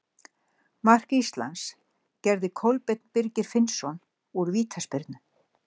Mark Íslands gerði Kolbeinn Birgir Finnsson úr vítaspyrnu.